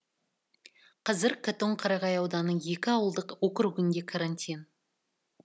қазір қатон қарағай ауданының екі ауылдық округінде карантин